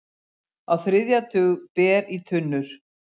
Á þriðja tug ber í tunnur